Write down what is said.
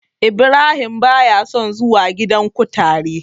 Ibrahim ba ya son zuwa gidan kutare.